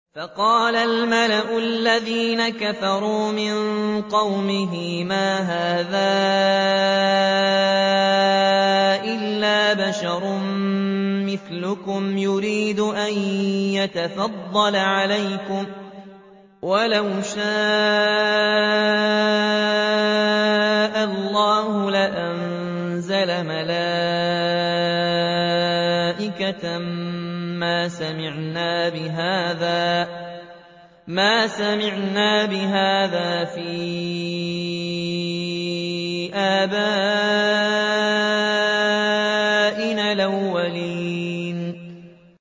فَقَالَ الْمَلَأُ الَّذِينَ كَفَرُوا مِن قَوْمِهِ مَا هَٰذَا إِلَّا بَشَرٌ مِّثْلُكُمْ يُرِيدُ أَن يَتَفَضَّلَ عَلَيْكُمْ وَلَوْ شَاءَ اللَّهُ لَأَنزَلَ مَلَائِكَةً مَّا سَمِعْنَا بِهَٰذَا فِي آبَائِنَا الْأَوَّلِينَ